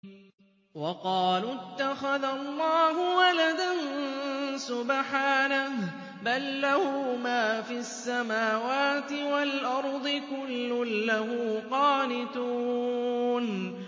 وَقَالُوا اتَّخَذَ اللَّهُ وَلَدًا ۗ سُبْحَانَهُ ۖ بَل لَّهُ مَا فِي السَّمَاوَاتِ وَالْأَرْضِ ۖ كُلٌّ لَّهُ قَانِتُونَ